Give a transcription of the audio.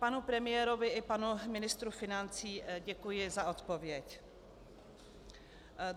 Panu premiérovi i panu ministru financí děkuji za odpověď.